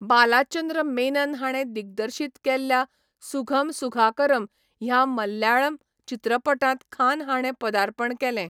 बालाचंद्र मेनन हाणें दिग्दर्शीत केल्ल्या सुघम सुघाकरम ह्या मलयाळम चित्रपटांत खान हाणें पदार्पण केलें.